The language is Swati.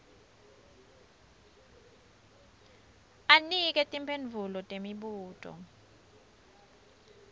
anike timphendvulo temibuto